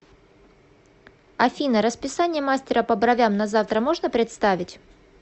афина расписание мастера по бровям на завтра можно представить